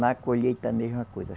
Na colheita, a mesma coisa.